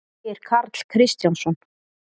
segir Karl Kristjánsson.